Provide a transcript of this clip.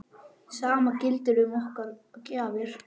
Sama gildir um okkar gjafir.